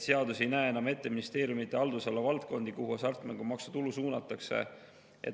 Seadus ei näe enam ette ministeeriumide haldusala valdkondi, kuhu hasartmängumaksu tulu suunatakse.